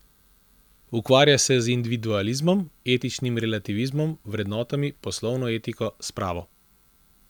Ukvarja se z individualizmom, etičnim relativizmom, vrednotami, poslovno etiko, spravo...